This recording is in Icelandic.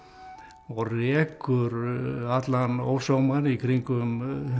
og rekur allan ósómann í kringum